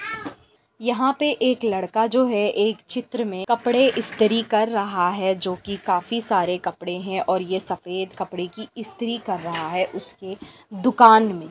यहाँ पे एक लड़का जो है एक चित्र में कपड़े स्त्री कर रहा है जो की काफी सारे कपड़े है और ये सफेद कपड़े की स्त्री कर रहा है उसकी दुकान में।